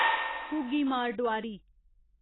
घुग्गी मार डोआरी